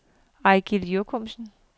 Eigil Jochumsen